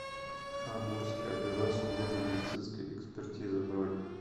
амурское бюро судебно медицинской экспертизы бронь